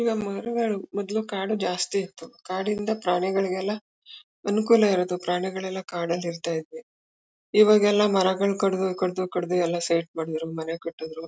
ಈಗ ಮರಗಳು ಮೊದ್ಲು ಕಾಡು ಜಾಸ್ತಿ ಇತ್ತು ಕಾಡಿಂದ ಪ್ರಾಣಿಗಳಿಗೆಲ್ಲ ಅನುಕೂಲ ಇರದು ಪ್ರಾಣಿಗಳೆಲ್ಲ ಕಾಡಾಲ್ ಇರ್ತ ಇದ್ವಿ ಇವಾಗೆಲ್ಲ ಮರಗಳ್ ಕಡ್ದು ಕಡ್ದು ಕಡ್ದು ಎಲ್ಲ ಸೈಟ್ಮಾ ಮಾಡುದ್ರು ಮನೆ ಕಟ್ಟುದ್ರು.